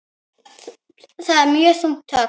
Það er þungt högg.